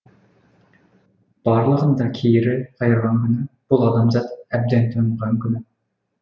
барлығын да кері қайырған күні бұл адамзат әбден тойынған күні